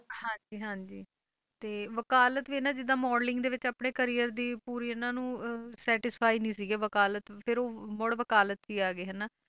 ਹਾਂਜੀ ਹਾਂਜੀ ਤੇ ਵਕਾਲਤ ਵੀ ਇਹਨਾਂ ਜਿੱਦਾਂ modeling ਦੇ ਵਿੱਚ ਆਪਣੇ career ਦੀ ਪੂਰੀ ਇਹਨਾਂ ਨੂੰ ਅਹ satisfy ਨੀ ਸੀਗੇ ਵਕਾਲਤ ਫਿਰ ਉਹ ਮੁੜ ਵਕਾਲਤ 'ਚ ਹੀ ਆ ਗਏ ਹਨਾ,